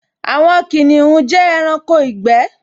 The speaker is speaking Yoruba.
Àwọn kìnìún jẹ́ ẹranko ìgbẹ́